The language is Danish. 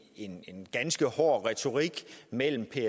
en ganske hård retorik mellem